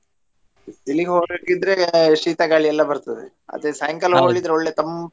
ಬಿಸಿಲಿಗೆ ಹೊರಟಿದ್ರೆ ಶೀತ ಗಾಳಿ ಎಲ್ಲಾ ಬರ್ತದೆ ಅದೇ ಸಾಯಂಕಾಲ ಒಳ್ಳೆ ತಂಪ್.